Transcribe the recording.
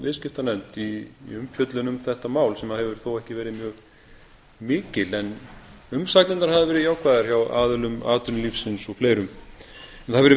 viðskiptanefnd í umfjöllun um þetta mál sem hefur þó ekki verið mjög mikil en umsagnirnar hafa verið jákvæðar hjá aðilum atvinnulífsins og fleirum það fer vel á